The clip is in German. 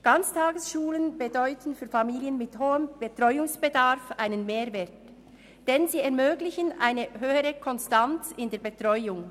Ganztagesschulen bedeuten für Familien mit hohem Betreuungsbedarf einen Mehrwert, denn sie ermöglichen eine höhere Konstanz in der Betreuung.